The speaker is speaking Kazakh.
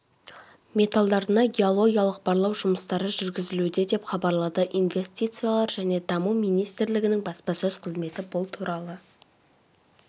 металдарына геологиялық барлау жұмыстары жүргізілуде деп хабарлады инвестициялар және даму министрлігінің баспасөз қызметі бұл туралы